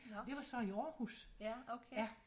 Det var så i Aarhus ja